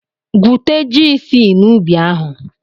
Gwute ji isii n'ubi ahụ!